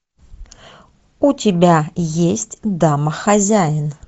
у тебя есть домохозяин